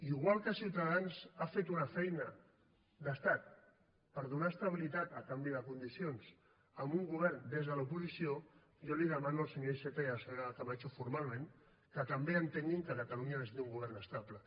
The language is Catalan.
igual que ciutadans ha fet una feina d’estat per donar estabilitat a canvi de condicions a un govern des de l’oposició jo els demano al senyor iceta i a la senyora camacho formalment que també entenguin que catalunya necessita un govern estable